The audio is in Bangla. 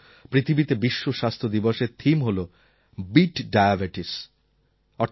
এই বছর পৃথিবীতে বিশ্ব স্বাস্থ্য দিবসের থিম হল বিট ডায়াবেটিস